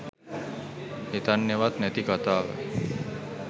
හිතන්නෙවත් නැති කතාව